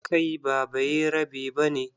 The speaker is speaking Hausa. Kai ba bayarabe ba ne?